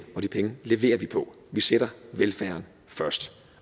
og de penge leverer vi på vi sætter velfærden først